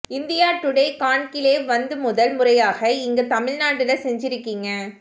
India today conclave வந்து முதல் முறையாக இங்க தமிழ்நாட்டுல செஞ்சிருக்கீங்க